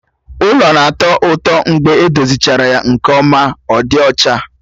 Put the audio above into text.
Ụlọ na-atọ ụtọ mgbe edozichara ya nke ọma ma dị ọcha